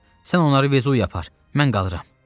Yox, sən onları Vezuviyə apar, mən qalıram.